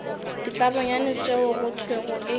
ditlabonyane tšeo go thwego e